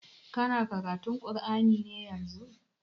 Kana karatun kur'ani ne yanzun?